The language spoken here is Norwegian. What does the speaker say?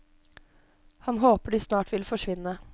Han håper de snart vil forsvinne.